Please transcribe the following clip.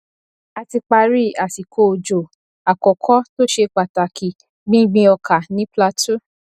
a ti parí àsìkò òjò àkọkọ tó ṣe pàtàkì gbíngbin ọkà ní plateau